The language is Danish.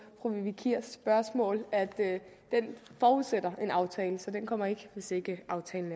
fru vivi kiers spørgsmål altså at det forudsætter en aftale så det kommer ikke hvis ikke aftalen